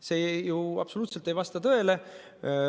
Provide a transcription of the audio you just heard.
See ju absoluutselt ei vasta tõele.